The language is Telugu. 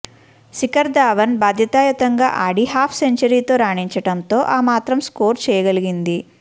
శిఖర్ థావన్ బాధ్యతాయుతంగా ఆడి హాఫ్ సెంచరీతో రాణించటంతో ఆ మాత్రం స్కోరు చేయగలిగింది